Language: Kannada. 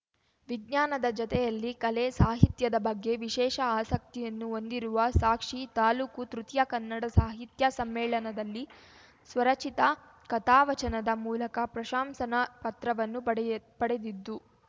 ವಿಜ್ಞಾನದ ಜತೆಯಲ್ಲಿ ಕಲೆ ಸಾಹಿತ್ಯದ ಬಗ್ಗೆ ವಿಶೇಷ ಆಸಕ್ತಿಯನ್ನು ಹೊಂದಿರುವ ಸಾಕ್ಷಿ ತಾಲೂಕು ತೃತೀಯ ಕನ್ನಡ ಸಾಹಿತ್ಯ ಸಮ್ಮೇಳನದಲ್ಲಿ ಸ್ವರಚಿತ ಕಥಾವಚನದ ಮೂಲಕ ಪ್ರಶಂಸನಾ ಪತ್ರವನ್ನು ಪಡೆಯ್ ಪಡೆದಿದ್ದು